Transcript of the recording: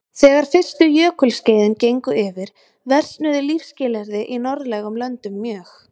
Þegar er fyrstu jökulskeiðin gengu yfir versnuðu lífsskilyrði í norðlægum löndum mjög.